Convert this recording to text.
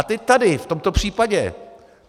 A teď tady v tomto případě.